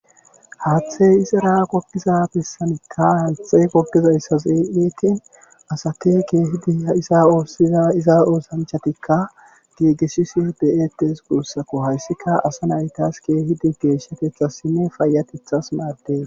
haathey izara kogiza pessanikka haaththe kogizayssa see7etin asake keehidi isa oossiza iza oosanchatikka gigeshise beyetes gursako hayssika asa naytas keehidi geeshsha keeththassinne fayatethas maaddes